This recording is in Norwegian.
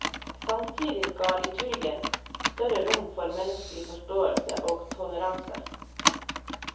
Samtidig ga liturgien større rom for medmenneskelig forståelse og toleranse.